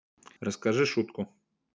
расскажи шутку